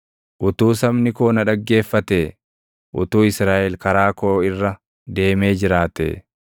“Utuu sabni koo na dhaggeeffatee, utuu Israaʼel karaa koo irra deemee jiraatee,